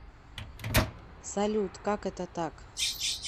салют как это так